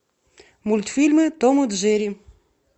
мультфильмы том и джерри